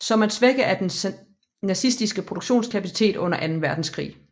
Som at svække af den nazistiske produktionskapacitet under anden verdenskrig